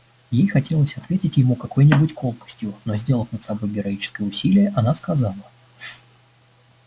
ей хотелось ответить ему какой-нибудь колкостью но сделав над собой героическое усилие она сказала